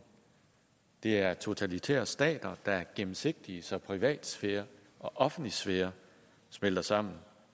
det er totalitære stater der er ugennemsigtige så privatsfære og offentlig sfære smelter sammen